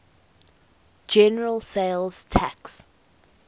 general sales tax